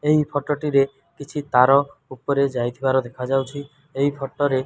ଏହି ଫୋଟୋ ଟି ରେ କିଛି ତାର ଉପରେ ଯାଇଥିବାର ଦେଖାଯାଉଛି ଏହି ଫୋଟୋ ରେ।